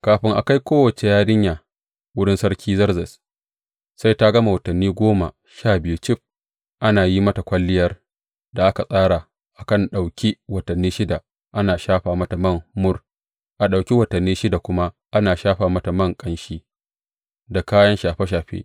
Kafin a kai kowace yarinya wurin Sarki Zerzes, sai ta gama watanni goma sha biyu cif ana yin mata kwalliyar da aka tsara, akan ɗauki watanni shida ana shafa mata man mur, a ɗauki watanni shida kuma ana shafa mata man ƙanshi da kayan shafe shafe.